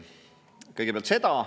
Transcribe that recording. Kõigepealt seda.